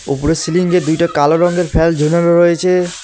ওপরের সিলিংয়ে দুইটা কালো রঙ্গের ফ্যান ঝোলানো রয়েছে।